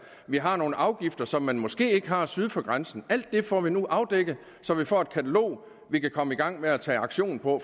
vi har nogle afgifter som man måske ikke har syd for grænsen alt det får vi nu afdækket så vi får et katalog vi kan komme i gang med at tage aktion på